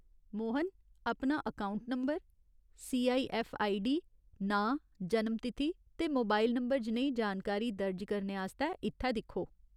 मोहन, अपना account number, CIF ID, नांऽ, जन्म तिथि ते मोबाइल नंबर जनेही जानकारी दर्ज करने आस्तै इत्थै दिक्खो।